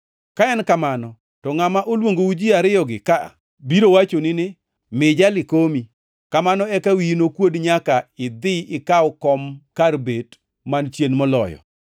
Ka en kamano, to ngʼama noluongou ji ariyogi ka, biro wachoni ni, ‘Mi jali komi.’ Kamano eka wiyi nokuodi nyaka inidhi ikaw kom kar bet man chien moloyo.